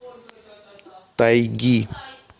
тайги